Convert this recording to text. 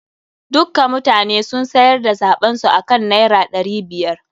Dukka mutanen sun sayar da zaɓen su akan naira ɗari biyar.